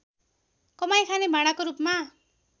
कमाई खाने भाँडाको रूपमा